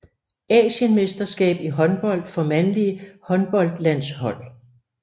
Asienmesterskab i håndbold for mandlige håndboldlandshold